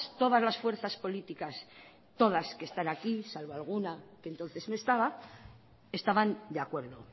todas las fuerzas políticas todas que están aquí salvo alguna que entonces no estaba estaban de acuerdo